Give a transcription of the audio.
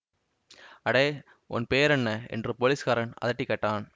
அடே உன் பெயர் என்ன என்று போலீஸ்காரன் அதட்டிக் கேட்டான்